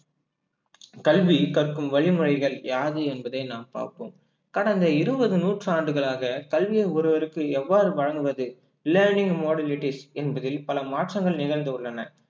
கல்வி கற்கும் வழிமுறைகள் யாது என்பதை நாம் பார்ப்போம் கடந்த இருபது நூற்றாண்டுகளாக கல்வியை ஒருவருக்கும் எவ்வாறு வழங்குவது learning modalities என்பதில் பல மாற்றங்கள் நிகழ்ந்துள்ளன